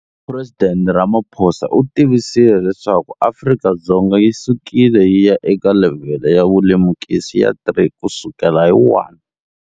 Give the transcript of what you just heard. Phuresidente Cyril Ramaphosa u tivisile leswaku Afrika-Dzonga yi sukile yi ya eka levhele ya vulemukisi ya 3 kusukela hi 1.